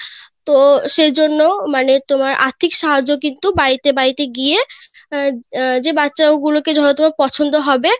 তো সেই জন্য মানে আর্থিক সাহায্য কিন্তু বাড়িতে বাড়িতে গিয়ে আহ যে বাচ্চা গুলো কে হয়তো পছন্দ হবে